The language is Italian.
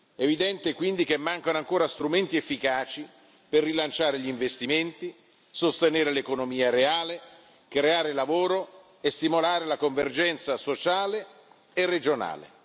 È evidente quindi che mancano ancora strumenti efficaci per rilanciare gli investimenti, sostenere l'economia reale, creare lavoro e stimolare la convergenza sociale e regionale.